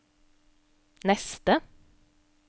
neste